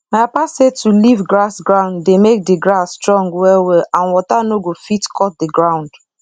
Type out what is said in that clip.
my papa say to leave grass ground dey make d grass strong well well and water nor go fit cut the ground